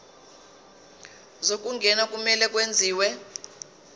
zokungena kumele kwenziwe